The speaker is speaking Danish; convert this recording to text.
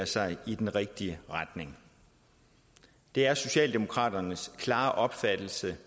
sig i den rigtige retning det er socialdemokraternes klare opfattelse